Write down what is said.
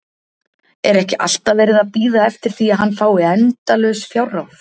Er ekki alltaf verið að bíða eftir því að hann fái endalaus fjárráð?